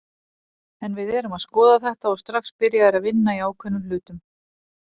En við erum að skoða þetta og strax byrjaðir að vinna í ákveðnum hlutum.